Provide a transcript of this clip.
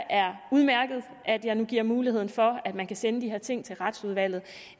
er udmærket at jeg nu giver mulighed for at man kan sende de her ting til retsudvalget